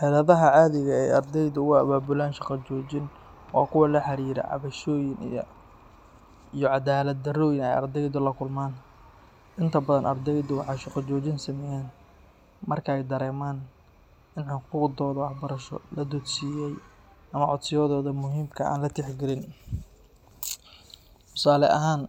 Xeladaha caadiga ah ee ardaydu u abaabulaan shaqo joojin waa kuwa la xiriira cabashooyin iyo cadaalad darrooyin ay ardaydu la kulmaan. Inta badan, ardaydu waxay shaqo joojin sameeyaan marka ay dareemaan in xuquuqdooda waxbarasho la duudsiiyay ama codsiyadooda muhiimka ah aan la tixgelin. Tusaale ahaan,